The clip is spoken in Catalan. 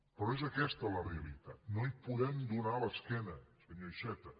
però és aquesta la realitat no hi podem donar l’esquena senyor iceta